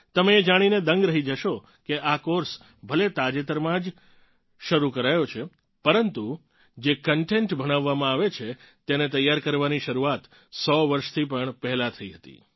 તમે એ જાણીને દંગ રહી જશો કે આ કોર્સ ભલે તાજેતરમાં જ શરૂ કરાયો છે પરંતુ જે કંટેન્ટ ભણાવવામાં આવે છે તેને તૈયાર કરવાની શરૂઆત 100 વર્ષથી પણ પહેલાં થઇ હતી